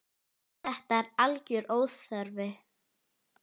Þetta er algjör óþarfi.